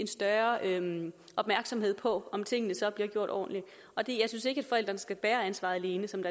større opmærksomhed på om tingene så bliver gjort ordentligt jeg synes ikke at forældrene skal bære ansvaret alene som